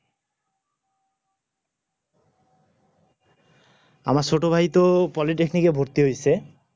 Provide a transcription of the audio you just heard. আমার ছোটভাই ত politaknik কে নিয়ে এ ভরতি হইছে